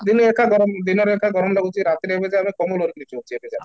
ଦିନରେ ଏକ ଗରମ ଦିନରେ ଏକ ଗରମ ଲାଗୁଛି ଆଉ ରାତିରେ ଏମିତି ଯେ ଆମେ କମ୍ବଳ ଘୋଡ଼େଇକି ଶୋଉଛେ ଏବେ ଯାଏଁ